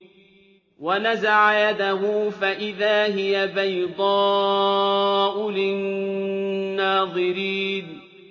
وَنَزَعَ يَدَهُ فَإِذَا هِيَ بَيْضَاءُ لِلنَّاظِرِينَ